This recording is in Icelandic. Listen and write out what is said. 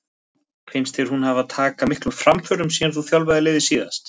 Finnst þér hún hafa taka miklum framförum síðan þú þjálfaðir liðið síðast?